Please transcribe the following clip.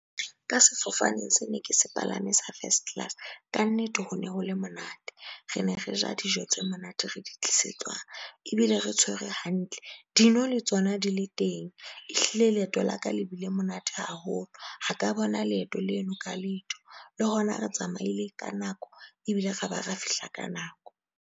Ka sefofaneng se ne ke se palame sa first class ka nnete ho ne ho le monate re ne re ja dijo tse monate re di tlisetswa ebile re tshwere hantle. Dino le tsona di le teng. Ehlile leeto la ka le bile monate haholo. Ha ka bona leeto leno ka letho le hona, re tsamaile ka nako ebile ra ba ra fihla ka nako.